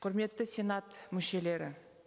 құрметті сенат мүшелері